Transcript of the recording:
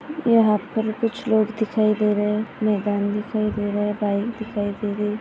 यहाँ पर कुछ लोग दिखाई दे रहे है मैदान दिखाई दे रहा है। पाइप दिखाई दे रहे--